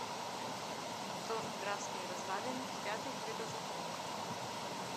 торт графские развалины пятый хлебозавод